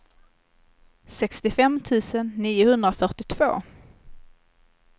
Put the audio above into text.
sextiofem tusen niohundrafyrtiotvå